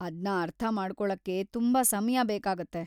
ಅದ್ನ ಅರ್ಥ ಮಾಡ್ಕೊಳಕ್ಕೇ ತುಂಬಾ ಸಮಯ ಬೇಕಾಗತ್ತೆ.